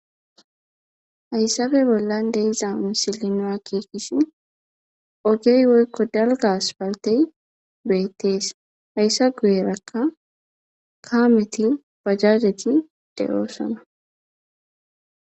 Hayssabe bollan deizawun silinoa kiikisi ogey woykko dalgas paltey beettees hayssa guyerakka kaameti pajareti de7oosama.